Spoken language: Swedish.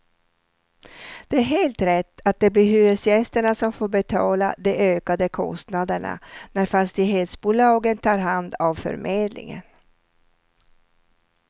Det är helt rätt att det blir hyresgästerna som får betala de ökade kostnaderna när fastighetsbolagen tar hand av förmedlingen.